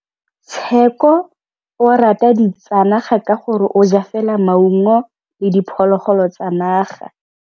Tshekô o rata ditsanaga ka gore o ja fela maungo le diphologolo tsa naga.